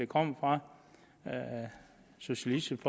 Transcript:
kommer fra socialistisk